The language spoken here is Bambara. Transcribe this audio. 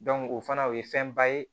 o fana o ye fɛnba ye